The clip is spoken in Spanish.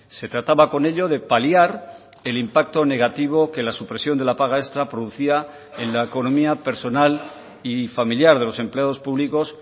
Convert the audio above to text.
se trataba con ello de paliar el impacto negativo que la supresión de la paga extra producía en la economía personal y familiar de los empleados públicos